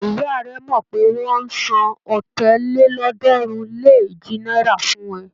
Ìyá rẹ mọ̀ pé wọ́n ń san ọ̀tàlélọ́ọ̀ọ́dúnrún-lé-èjì náírà fún ẹ.